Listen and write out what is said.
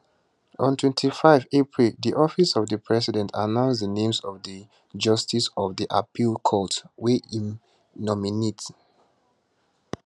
on 25 april di office of di president announce di names of di justices of di appeals court wia im nominate